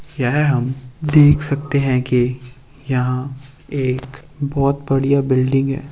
यहाँ हम देख सकते हैं की यहाँ एक बहुत बढ़िया बिल्डिंग है।